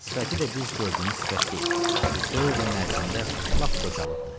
Sifəti də biz gördüyümüz sifət deyil, bu dörd ilin ərzində lap qocalıbdır.